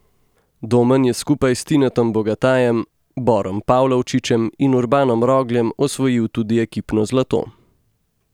Domen je skupaj s Tinetom Bogatajem, Borom Pavlovčičem, Urbanom Rogljem osvojil tudi ekipno zlato.